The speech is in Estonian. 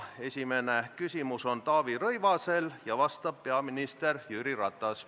Esimene küsimus on Taavi Rõivasel ja vastab peaminister Jüri Ratas.